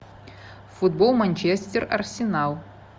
футбол манчестер арсенал